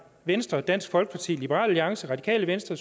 venstre dansk folkeparti liberal alliance radikale venstre